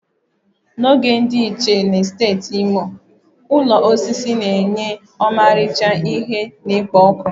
Na oge ochie na steeti Imo, ụlọ osisi na-enye ọmarịcha ihe na-ekpo ọkụ